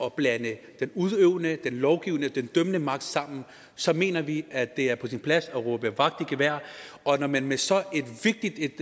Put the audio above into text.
at blande den udøvende den lovgivende og den dømmende magt sammen så mener vi at det er på sin plads at råbe vagt i gevær og når man med så vigtigt et